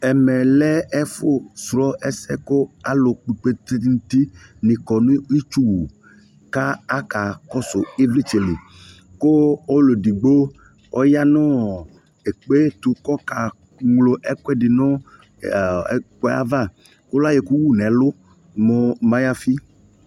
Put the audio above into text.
Ɛmɛ lɛ ɛfo srɔ ɛsɛ ko alu kplkoete nuti ne kɔ no itsuwu ka aka kɔso evletsɛ li ko ɔlu edigbo ɔya nɔ ɛkpeto kɔka ñlo ɛkude no aɔɔ ɛkuɛ ava ko la yɔ ɛku wu nɛlu mo mariafi